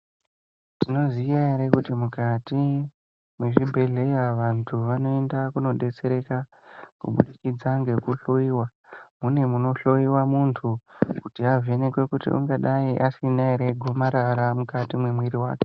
Tinoziya ere kuti mukati mwezvibhedhleya vantu vanoenda kundodetsereka kubudikidza ngekuhloiwa mune munohloiwa muntu kuti avhenekwe kuti ungadai asina ere gomarara mukati mwemiri wake.